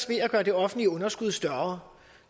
ved at gøre det offentlige underskud større